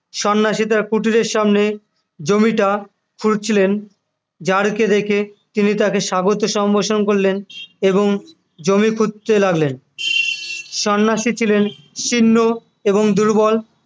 সন্ন্যাসী তার কুটিরের সামনে জমিটা খুঁড়ছিলেন যার কে দেখে তিনি তাকে স্বাগত সম্ভাষণ করলেন এবং জমি খুঁড়তে লাগলেন সন্ন্যাসী ছিলেন শীর্ণ এবং দুর্বল